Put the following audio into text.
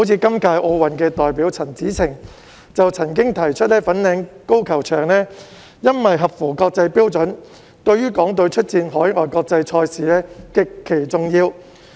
今屆奧運代表陳芷澄就曾經提出，由於粉嶺高爾夫球場合乎國際標準，對於港隊出戰海外國際賽事極其重要。